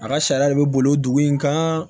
A ka sariya de bɛ boli dugu in kan